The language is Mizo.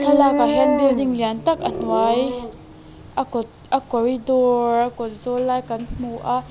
thlalak ah hian building lian tak a hnuai a kawt a corridor a kawt zawl lai kan hmu a.